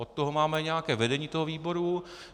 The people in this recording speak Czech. Od toho máme nějaké vedení toho výboru.